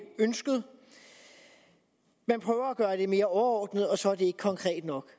ønsket vi prøver at gøre det mere overordnet og så er det ikke konkret nok